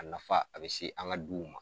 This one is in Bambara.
A nafa a bɛ se an ka duw ma.